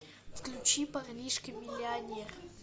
включи парнишка миллионер